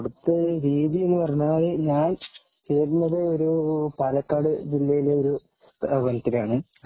അവിടുത്തെ രീതി എന്ന് പറഞ്ഞാൽ ഞാൻ പഠിച്ചത് പാലക്കാട് ജില്ലയിലെ ഒരു സ്ഥാപനത്തിലാണ്